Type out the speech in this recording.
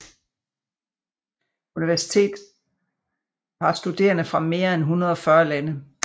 Universitet har studerende fra mere end 140 lande